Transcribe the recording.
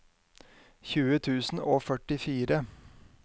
tjueen tusen og førtifire